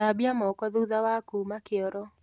Thambia moko thutha wa kuma kĩoro